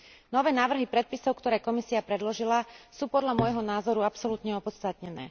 Nové návrhy predpisov, ktoré Komisia predložila, sú podľa môjho názoru absolútne opodstatnené.